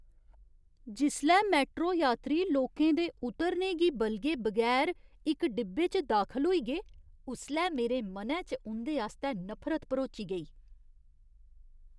जिसलै मैट्रो यात्री लोकें दे उतरने गी बलगे बगैर इक डिब्बे च दाखल होई गे, उसलै मेरे मनै च उं'दे आस्तै नफरत भरोची गेई।